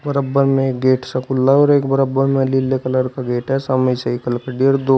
में एक गेट सा खुला है और एक बराबर में नीले कलर का गेट है दो--